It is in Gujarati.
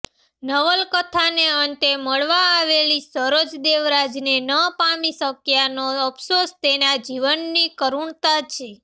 નવલકથાને અંતે મળવા આવેલી સરોજ દેવરાજને ન પામી શક્યાનો અફસોસ તેના જીવનની કરુણતા છે